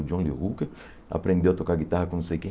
O John Lee Hooker aprendeu a tocar guitarra com não sei quem.